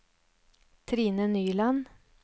Trine Nyland